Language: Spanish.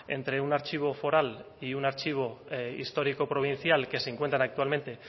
entre un archivo foral y un archivo histórico provincial que se encuentran actualmente